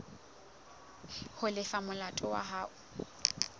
ho lefa molato wa hao